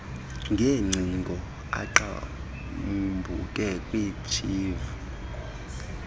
ngeengcingo eqhambuke kwishivi